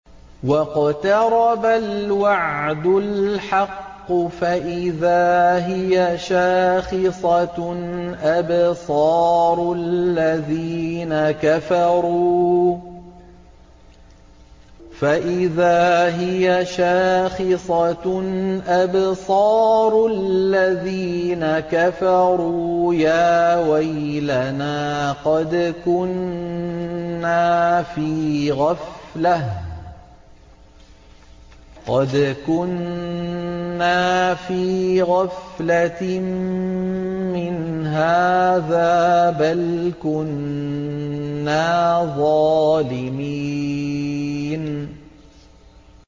وَاقْتَرَبَ الْوَعْدُ الْحَقُّ فَإِذَا هِيَ شَاخِصَةٌ أَبْصَارُ الَّذِينَ كَفَرُوا يَا وَيْلَنَا قَدْ كُنَّا فِي غَفْلَةٍ مِّنْ هَٰذَا بَلْ كُنَّا ظَالِمِينَ